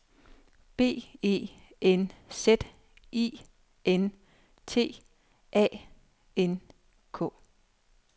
B E N Z I N T A N K